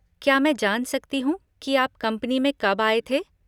क्या मैं जान सकती हूँ कि आप कंपनी में कब आए थे?